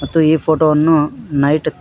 ಮತ್ತು ಈ ಫೋಟೋ ವನ್ನು ನೈಟ್ --